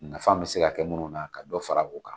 Nafa bɛ se ka kɛ minnu na ka dɔ fara o kan